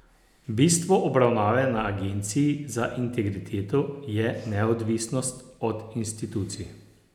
Bistvo obravnave na agenciji za integriteto je neodvisnost od institucij.